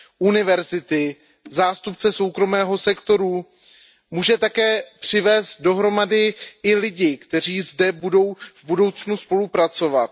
Univerzity, zástupce soukromého sektoru, může také přivést dohromady i lidi, kteří zde budou v budoucnu spolupracovat.